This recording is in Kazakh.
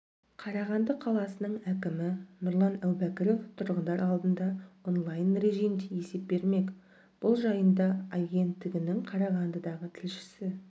қарағанды қаласының әкімі нұрлан әубәкіров тұрғындар алдында онлайн режимде есеп бермек бұл жайында агенттігінің қарағандыдағы тілшісі